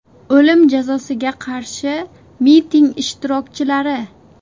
O‘lim jazosiga qarshi miting ishtirokchilari.